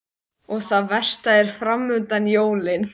Hún er öll heit og horfir furðulostin á hann.